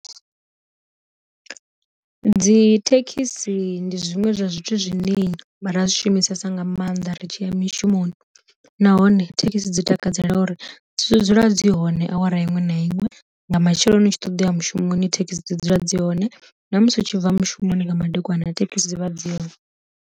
Dzi thekhisi ndi zwiṅwe zwa zwithu zwine ra zwi shumisesa nga maanḓa ri tshi mishumoni, nahone thekhisi dzi takadzela uri dzi dzula dzi hone awara iṅwe na iṅwe nga matsheloni ni tshi ṱoḓa mushumoni thekhisi dzi dzula dzi hone, na musi u tshi bva mushumoni nga madekwana thekhisi dzi vha dzi hone.